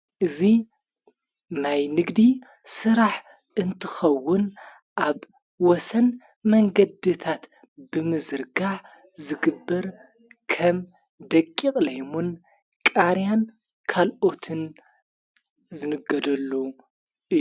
እዙ ናይ ንግዲ ሥራሕ እንትኸውን ኣብ ወሰን መንገድታት ብምዘርጋ ዝግብር ከም ደቂቕ ለይሙን ቃርያን ካልኦትን ዘንገደሉ እዩ::